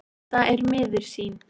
Edda er miður sín.